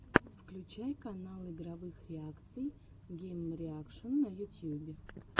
включай канал игровых реакций геймреакшн на ютьюбе